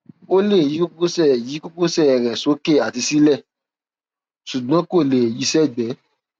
ó lè yí kókósẹ yí kókósẹ rẹ sókè àti sílẹ ṣùgbọn kò lè yi sí ẹgbẹ